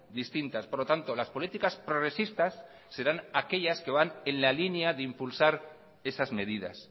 distintas por lo tanto las políticas progresistas serán aquellas que van en la línea de impulsar esas medidas